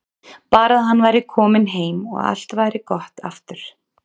Bara að hann væri kominn heim og allt væri gott aftur.